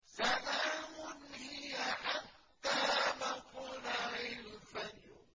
سَلَامٌ هِيَ حَتَّىٰ مَطْلَعِ الْفَجْرِ